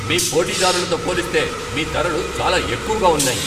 మీ పోటీదారులతో పోలిస్తే మీ ధరలు చాలా ఎక్కువగా ఉన్నాయి.